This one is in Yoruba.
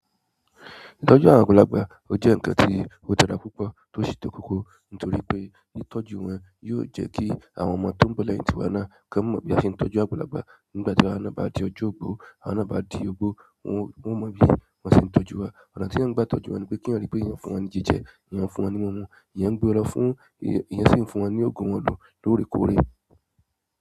Ìtọ́jú ará àgbàlagbà ó jẹ́ ǹnkan tí ó dára púpọ̀ tó sì to koko nítorí pé ìtọ́jú wọn yóò jẹ́ kí àwọn ọmọ tó ń bọ̀ lẹ́yìn tíwa náà ká mọ̀ bí a ṣe ń tọ́jú àgbàlagbà. Nígbà ti awa náà ba di ọjọ ogbo, awa náà ba di ogbo won o mọmi bi won se n tọ́jú wa ọ̀nà tí wọ́n bá ti tọ́jú wọn ni pé kí wọ́n rí pé eyan n fún wọn ní jíjẹ, eyan ń fún wọn ní ohun mímu, eyan ń gbé wọn lọ fún, eyan sì ń fún wọn ní òògùn wọn lò lóòrèkóòrè.